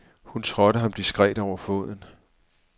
Hun trådte ham diskret over foden.